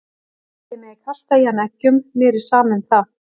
Þið megið kasta í hann eggjum, mér er sama um það.